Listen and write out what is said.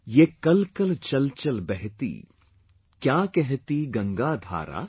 YEH KALKAL CHALCHAL BEHTI, KYA KEHTA GANGA DHARA